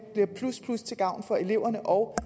bliver plus plus til gavn for eleverne og